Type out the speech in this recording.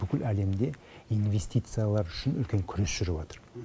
бүкіл әлемде инвестициялар үшін үлкен күрес жүріватыр